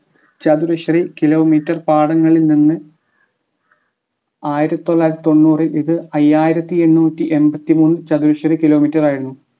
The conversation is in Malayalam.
ചതുരശ്രീ kilometre പാടങ്ങളിൽ നിന്ന് ആയിരത്തി തൊള്ളായിരത്തിത്തൊണ്ണൂറിൽ ഇത് അയ്യായിരത്തി എണ്ണൂറ്റി എമ്പത്തി മൂന്ന് ചതുരശ്രീ kilometre ആയിരുന്നു